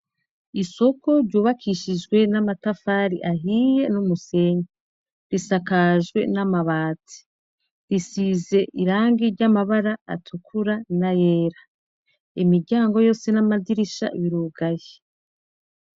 Isoko ryubakishijwe n'amatafari ahiye n'umusenke risakajwe n'amabatsi risize irangi ry'amabara atukura na yera imiryango yose n'amadirisha birugaye.